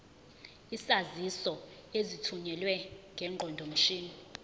izaziso ezithunyelwe ngeqondomshini